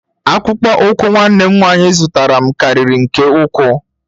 Akpụkpọ ụkwụ nwanne m nwanyị zụtara m karịrị nke ukwuu.